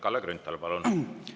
Kalle Grünthal, palun!